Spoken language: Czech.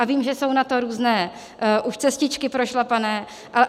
A vím, že jsou na to různé už cestičky prošlapané.